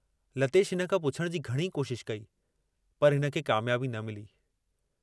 लतेश हिन खां पुछण जी घणी कोशशि कई, पर हिनखे कामयाबी न मिली।